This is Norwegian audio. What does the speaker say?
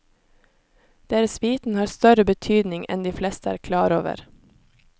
Deres viten har større betydning enn de fleste er klar over.